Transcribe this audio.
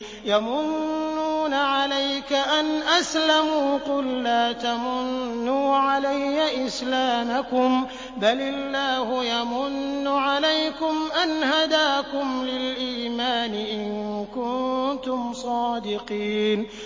يَمُنُّونَ عَلَيْكَ أَنْ أَسْلَمُوا ۖ قُل لَّا تَمُنُّوا عَلَيَّ إِسْلَامَكُم ۖ بَلِ اللَّهُ يَمُنُّ عَلَيْكُمْ أَنْ هَدَاكُمْ لِلْإِيمَانِ إِن كُنتُمْ صَادِقِينَ